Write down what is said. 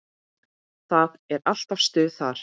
Það er alltaf stuð þar.